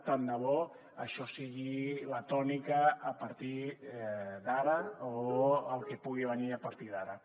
tant de bo això sigui la tònica a partir d’ara o el que pugui venir a partir d’ara